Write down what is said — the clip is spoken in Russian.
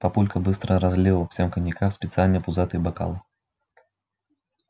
папулька быстро разлил всем коньяка в специальные пузатые бокалы